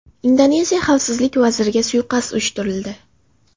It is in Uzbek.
Indoneziya xavfsizlik vaziriga suiqasd uyushtirildi.